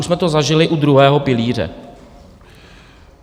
Už jsme to zažili u druhého pilíře.